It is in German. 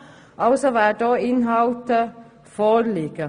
Also werden auch Inhalte vorliegen.